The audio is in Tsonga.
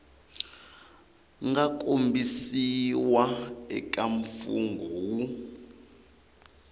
nga kombisiwa eka mfungho wu